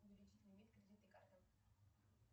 увеличить лимит кредитной карты